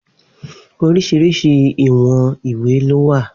Oríṣìíríṣìí ìwọ̀n ìwé ló wà.